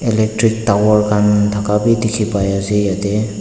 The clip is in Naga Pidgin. electric tower khan thaka bi dikhipaiase yatae.